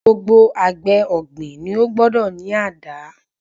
Gbogbo àgbẹ̀ ọ̀gbìn ni ó gbọ́dọ̀ ní àdá.